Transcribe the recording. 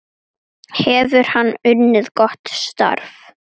Hefur hann unnið gott starf?